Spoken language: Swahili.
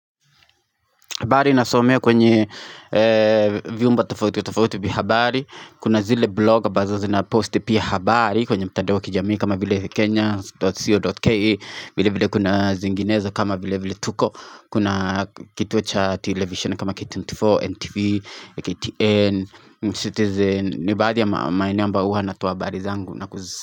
Habari nasomea kwenye vyumba tofauti kwa tofauti vya habari. Kuna zile bloga ambazo zina posti pia habari kwenye mitandao ya kijamii kama vile kenya.co.ke vile vile kuna zinginezo kama vile vile tuko Kuna kituo cha televisheni kama K24, NTV, KTN, Citizen ni baadhi ya maeneo ambayo huwa natoa habari zangu na kuzi.